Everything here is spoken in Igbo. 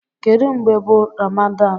Kedu mgbe bu Ramadan?